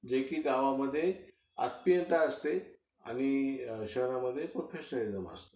जे कि गावमध्ये आत्मीयता असते आणि शहरामध्ये प्रोफेशनॅलिझम असतो.